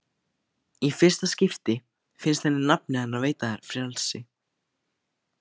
Í fyrsta skipti finnst henni nafnið hennar veita frelsi.